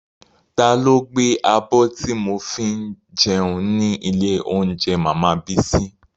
Ta ló gbé abọ́ tí mo fi jẹun ní ilé óúnjẹ màmá Bísí?